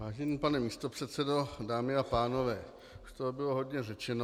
Vážený pane místopředsedo, dámy a pánové, už toho bylo hodně řečeno.